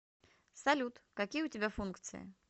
салют какие у тебя функции